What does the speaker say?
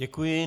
Děkuji.